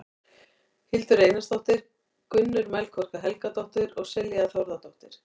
Hildur Einarsdóttir, Gunnur Melkorka Helgadóttir og Silja Þórðardóttir.